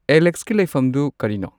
ꯑꯦꯂꯦꯛꯁꯀꯤ ꯂꯩꯐꯝꯗꯨ ꯀꯔꯤꯅꯣ